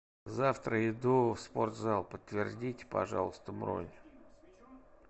завтра иду в спортзал подтвердите пожалуйста бронь